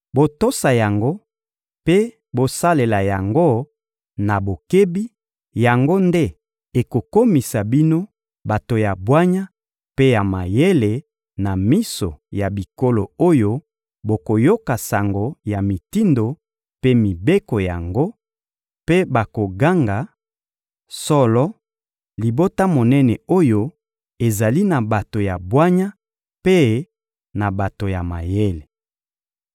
Botosa yango mpe bosalela yango na bokebi; yango nde ekokomisa bino bato ya bwanya mpe ya mayele na miso ya bikolo oyo bakoyoka sango ya mitindo mpe mibeko yango; mpe bakoganga: «Solo, libota monene oyo ezali na bato ya bwanya mpe na bato ya mayele.»